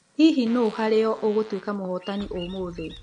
Hihi nũ harĩ o ũgũtuĩka mũhotani ũmũthĩ?